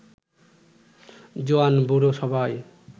জোয়ান-বুড়ো সবাই